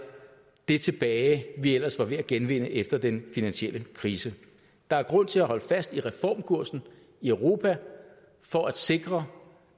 det tilbage vi ellers var ved at genvinde efter den finansielle krise der er grund til at holde fast i reformkursen i europa for at sikre